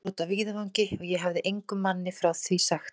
Það var úti á víðavangi, og ég hefi engum manni frá því sagt.